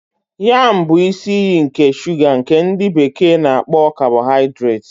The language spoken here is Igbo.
Yam bụ isi iyi nke shuga nke ndi bekee na-akpo kabohaidreti.